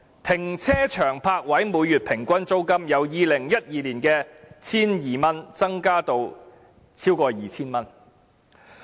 停車場泊位每月平均租金由2012年的 1,200 元，增至今年超過 2,000 元。